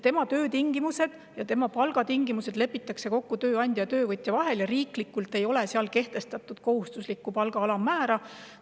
Tema töö- ja palgatingimused lepitakse kokku tööandja ja töövõtja vahel ja riiklikult seal kohustuslikku palga alammäära kehtestatud ei ole.